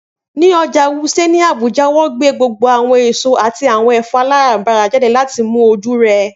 Ni Ọja Wuse ni Abuja, wọn gbe gbogbo awọn eso ati awọn ẹfọ alarabara jade lati mu oju rẹ.